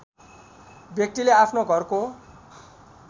व्यक्तिले आफ्नो घरको